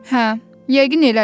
Hə, yəqin elədi.